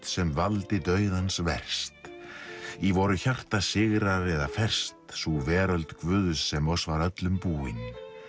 sem valdi dauðans verst í voru hjarta sigrar eða ferst sú veröld guðs sem oss var öllum búin